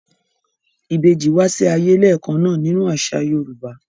Ìbejì wá sí ayé lẹ́ẹ̀kan náà nínú àṣà Yorùbá.